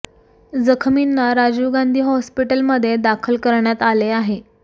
जखमींना राजीव गांधी हॉस्पिटलमध्ये दाखल करण्यात आले आहे